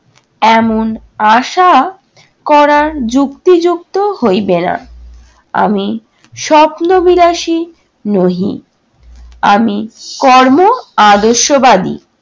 এমন আশা করা যুক্তিযুক্ত হইবে না। আমি স্বপ্ন-বিলাসী নহি। আমি কর্ম-আদর্শবাদী।